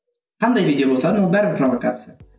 қандай видео болса да ол бәрібір провокация